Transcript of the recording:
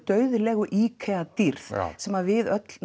dauðlegu dýrð sem að við öll